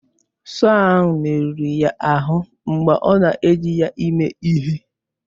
Sọọ ahụ merụrụ ya ahụ mgbe ọ na-eji ya ime ihe.